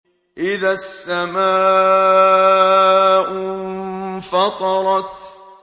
إِذَا السَّمَاءُ انفَطَرَتْ